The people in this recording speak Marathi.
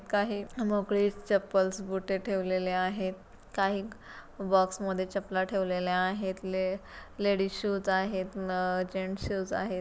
काही मोकळी चप्प्ल्स बुटे ठेवलेली आहे. काही बॉक्स मध्ये चपला ठेवलेल्या आहेत. ले लेडिज शूज आहेत. न जेन्स शूज आहेत.